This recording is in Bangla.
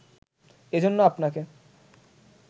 এজন্য আপনাকে